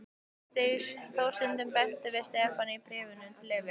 Þór stundum beint við Stefán í bréfum til Evu.